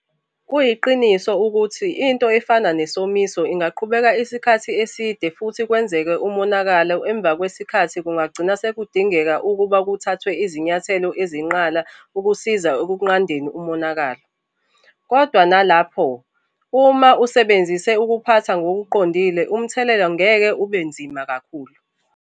Kuyiqiniso futhi ukuthi into efana nesomiso ingaqhubeka isikhathi eside futhi kwenzeke umonakalo emva kwesikhathi kungagcina sekudingeka ukuba kuthathwe izinyathelo ezinqala ukusiza ekunqandeni umonakalo. Kodwa nalapho, uma usebenzise ukuphatha ngokuqondile umthelela ngeke ube nzima kakhulu.